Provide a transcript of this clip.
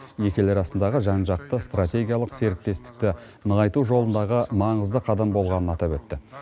екі ел арасындағы жан жақты стратегиялық серіктестікті нығайту жолындағы маңызды қадам болғанын атап өтті